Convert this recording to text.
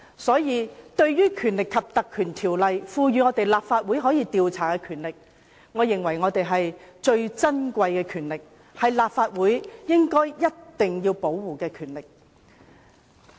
所以，對於《條例》賦予立法會可以調查的權力，我認為最是珍貴，是立法會必須守護的權力。